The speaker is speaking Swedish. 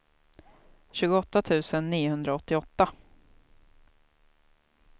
tjugoåtta tusen niohundraåttioåtta